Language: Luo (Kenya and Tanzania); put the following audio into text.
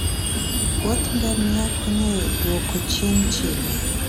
wuodh ngamia konyo e duoko chien chilo.